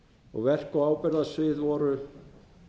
og verk og ábyrgðarsvið voru